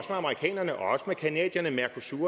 som